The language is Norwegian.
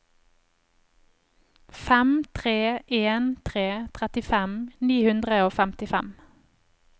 fem tre en tre trettifem ni hundre og femtifem